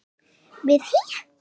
við HÍ.